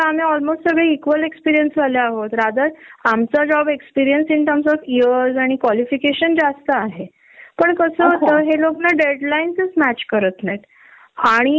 Company policy तर interview देऊनच असनार आहे प्रोपर इंटरव्ह्यू झाला आहे, व्हेरीफिकेशन झाल आहे मगच मगच जॉब मध्ये हायर केल आहे. बॉस ला म्हणशील तर तसे आमचे रिलेशन चांगल आहेत